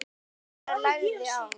Gunnar lagði á.